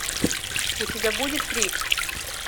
у тебя будет крик